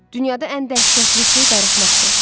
Dünyada ən dəhşətli şey darıxmaqdır.